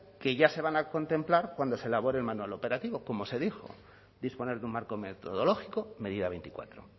que ya se van a contemplar cuando se elabore el manual operativo como se dijo disponer de un marco metodológico medida veinticuatro